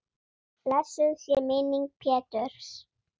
Blessuð sé minning Péturs.